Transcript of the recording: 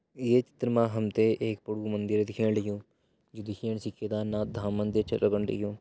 एक चित्र मा हम त एक मंदिर दिखेणु लग्युं जू दिखेण से केदारनाथ धाम छ लगण लग्युं।